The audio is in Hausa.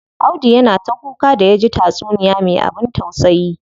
Audu yana ta kuka da yaji taysuniya me abin tausayi.